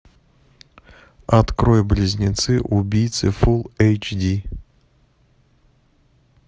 открой близнецы убийцы фул эйч ди